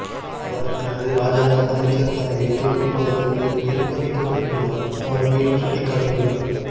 அவர் தனது இராஜாங்க அமைச்சுப் பதவியைத் துறக்குமளவுக்கு நிர்ப்பந்திக்கப்பட்டுள்ளார் அவர் மேலும் சுட்டிக்காட்டியுள்ளார்